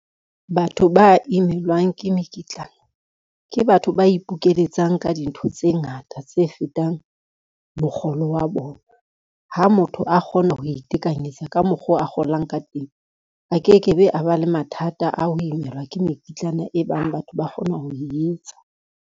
Batho ba imelwang ke mekitlana, ke batho ba ipokelletsa ka dintho tse ngata tse fetang mokgolo wa bona. Ha motho a kgona ho itekanyetsa ka mokgo a kgolang ka teng, a ke ke be a ba le mathata a ho imelwa ke mekitlana e bang batho ba kgona ho e etsa.